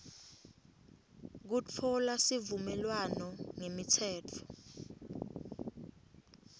kutfola sivumelwano ngemitsetfo